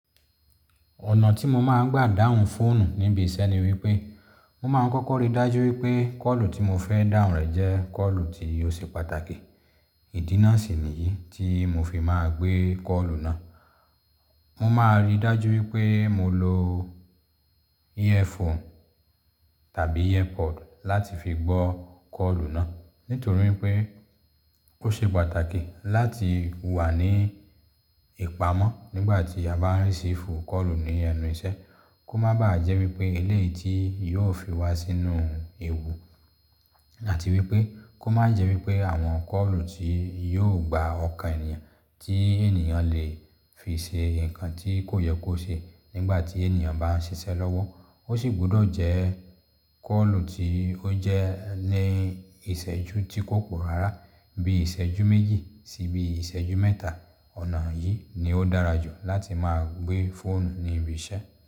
Ọ̀nà tí mo máa ń gbà dahun fóònù níbi iṣẹ́ ni wípẹ́, mo máa ń kọ́kọ́ ríi dájú wípẹ́ kọ́ọ̀lù tí mo fẹ́ dahun rẹ̀ jẹ́ kọ́ọ̀lù tí ó ṣe pàtàkì. Ìdínà sì ni yìí tí mo fi máa gbé kọ́ọ̀lù náà. Mo máa ríi dájú wípé mo lo earphone tàbí earpod láti fi gbọ́ kọ́ọ̀lù náà. Nítorí pé o ṣe pàtàkì láti wà ní ìpamọ́ nígbà tí a bá ń ríṣífú kọ́ọ̀lù ní ẹnu iṣẹ́. Kó má bàá jẹ́ wípẹ́ eléyìí tí yóò fi wá sínú ewu àti wípẹ́ kó má jẹ́ wípẹ́ àwọn kọ́ọ̀lù tí yóò gba ọkàn ènìyàn tí ènìyàn lè fi ṣe nǹkan tí kò yẹ kó ṣe nígbà tí ènìyàn bá ń ṣiṣẹ́ lọ́wọ́. Ó sì gbọ́dọ̀ jẹ́ kọ́ọ̀lù tí ó jẹ́ ní ìṣẹ́jú tí kò pọ̀ rárá bí ìṣẹ́jú méjì sí bí ìṣẹ́jú mẹ́ta. Ọ̀nà yìí ni ó dára jù láti máa gbé fóònù ní ibi iṣẹ́.